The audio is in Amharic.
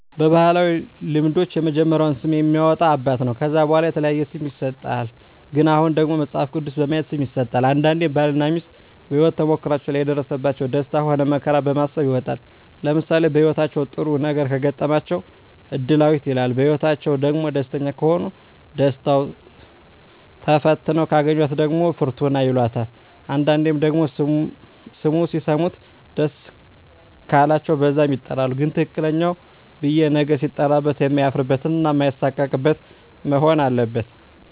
በባህላዊ ልምዶች የመጀመሪያውን ስም የሚያወጣ አባት ነው ከዛ በዋላ የተለያየ ስም ይሰጥሃል ግን አሁን ደግሞ መጸሀፍ ቅዱስ በማየት ስም ይሠጣል አንዳንዴም ባል እና ሜስት በሄወት ተሞክሮዎች ላይ የደረሰባቸው ደስታ ሆነ መከራ በማሰብ ይወጣል ለምሳሌ በህይወታቸው ጥሩ ነገረ ካጋጠማቸው እድላዌት ይላታል በህይወትአቸዉ ደግሞ ደስተኛ ከሆኑ ደስታው ተፈትነው ካገኛት ደግሞ ፍርቱና ይላታል አንዳንዴ ደግሞ ስሙ ሲሰሙት ደስ ቃላቸው በዛም ይጠራሉ ግን ትክክለኛው ብየ ነገ ሲጠራበት የማያፍርበት እና ማይሳቀቅበት መሆን አለበት